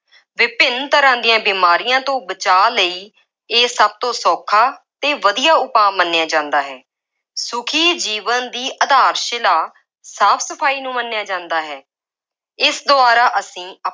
ਵਿਭਿੰਨ ਤਰ੍ਹਾਂ ਦੀਆਂ ਬੀਮਾਰੀਆਂ ਤੋਂ ਬਚਾਅ ਲਈ ਇਹ ਸਭ ਤੋਂ ਸੌਖਾ ਅਤੇ ਵਧੀਆ ਉਪਾਅ ਮੰਨਿਆ ਜਾਂਦਾ ਹੈ। ਸੁਖੀ ਜੀਵਨ ਦੀ ਆਧਾਰ-ਸ਼ਿਲਾ ਸਾਫ ਸਫਾਈ ਨੂੰ ਮੰਨਿਆ ਜਾਂਦਾ ਹੈ। ਇਸ ਦੁਆਰਾ ਅਸੀਂ